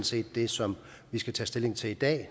set det som vi skal tage stilling til i dag